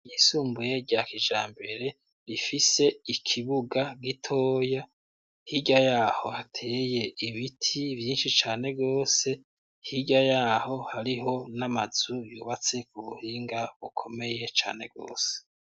Ishure ryisumbuye rya kijambere ,rifise ikibuga g'itoya ,hirya yaho hateye ibiti vyinshi cane rwose ,hirya yaho hariho n'amazu yubatse ku buhinga bukomeye cane rwose.